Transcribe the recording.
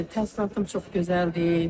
Təəssüratım çox gözəldir.